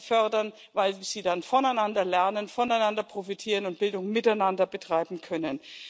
fördern, weil sie dann voneinander lernen, voneinander profitieren und Bildung miteinander betreiben können.